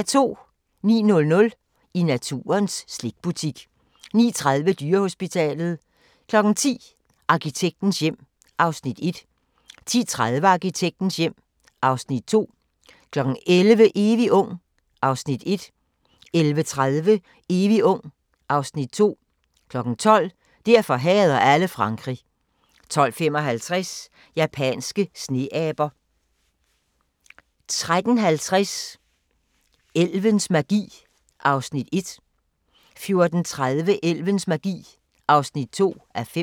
09:00: I naturens slikbutik 09:30: Dyrehospitalet 10:00: Arkitektens hjem (Afs. 1) 10:30: Arkitektens hjem (Afs. 2) 11:00: Evig ung (Afs. 1) 11:30: Evig ung (Afs. 2) 12:00: Derfor hader alle Frankrig 12:55: Japanske sneaber 13:50: Elvens magi (1:5) 14:30: Elvens magi (2:5)